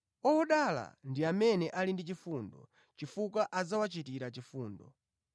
Odala ndi amene ali ndi chifundo, chifukwa adzawachitira chifundo.